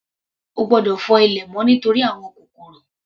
Ó gbọ́dọ̀ fọ inú ilé mọ́ nítorí àwọn kòkòrò.